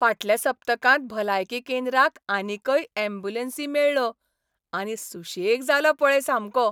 फाटल्या सप्तकांत भलायकी केंद्राक आनीकय यॅम्ब्युलन्सी मेळ्ळो आनी सुशेग जालो पळय सामको.